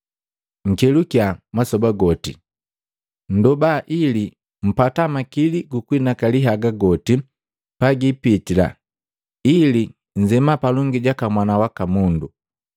Nkelukiya masoba goti, nndoba ili mpata makili kunhinakali haga goti pagiipitila ili nzema palongi jaka Mwana waka Mundu.”